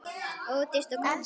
Ódýrt og gott.